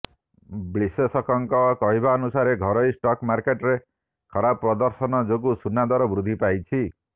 ବିଶ୍ଳେଷକଙ୍କ କହିବାନୁସାରେ ଘରୋଇ ଷ୍ଟକ୍ ମାର୍କେଟରେ ଖରାପ ପ୍ରଦର୍ଶନ ଯୋଗୁଁ ସୁନା ଦର ବୃଦ୍ଧି ପାଇଛି